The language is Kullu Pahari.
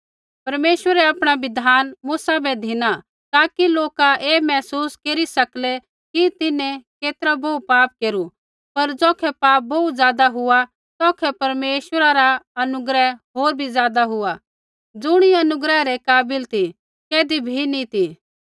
परमेश्वरै आपणा बिधान मूसा बै धिना ताकि लोका ऐ महसूस केरी सकलै कि तिन्हैं केतरा बोहू पाप केरु पर ज़ौखै पाप बोहू ज़ादा हुआ तौखै परमेश्वरा रा अनुग्रह होर भी ज़ादा हुआ ज़ुणी अनुग्रह रै काबिल ते कैधी भी नी ती